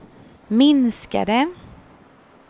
minskade